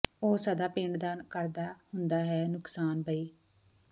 ਉਹ ਸਦਾ ਪਿੰਡ ਦਾ ਕਰਦਾ ਹੁੰਦਾ ਏ ਨੁਕਸਾਨ ਬਈ